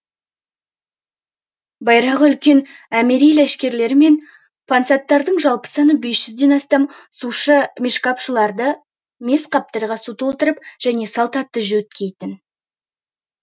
байрағы үлкен әмири ләшкерлер мен пансаттардың жалпы саны бес жүзден астам сушы мишкапшылары мес қаптарға су толтыратын және салт атты жөткейтін